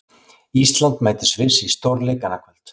Ísland mætir Sviss í stórleik annað kvöld.